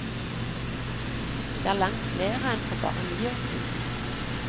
Det er langt flere enn for bare ni år siden.